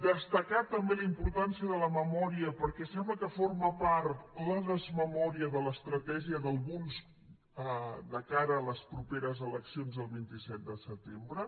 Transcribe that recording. destacar també la importància de la memòria perquè sembla que forma part la desmemòria de l’estratègia d’alguns de cara a les properes eleccions del vint set de setembre